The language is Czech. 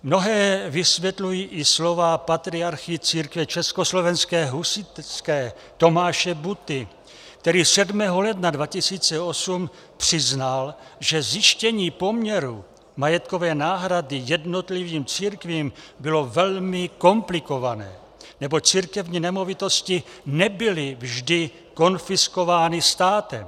Mnohé vysvětlují i slova patriarchy Církve československé husitské Tomáše Butty, který 7. ledna 2008 přiznal, že zjištění poměru majetkové náhrady jednotlivým církvím bylo velmi komplikované, neboť církevní nemovitosti nebyly vždy konfiskovány státem.